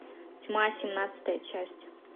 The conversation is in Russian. тьма семнадцатая часть